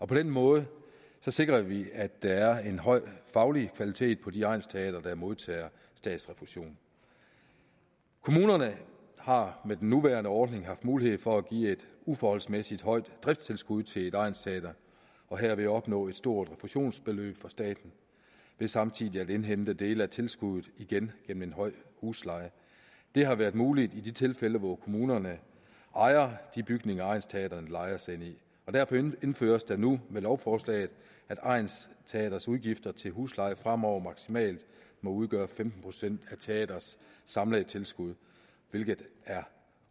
på den måde sikrer vi at der er en høj faglig kvalitet på de egnsteatre der modtager statsrefusion kommunerne har med den nuværende ordning haft mulighed for at give et uforholdsmæssigt højt driftstilskud til et egnsteater og herved opnå et stort refusionsbeløb fra staten ved samtidig at indhente dele af tilskuddet igen gennem en høj husleje det har været muligt i de tilfælde hvor kommunerne ejer de bygninger egnsteatrene lejer sig ind i derfor indføres det nu med lovforslaget at egnsteatrets udgifter til husleje fremover maksimalt må udgøre femten procent af teatrets samlede tilskud hvilket er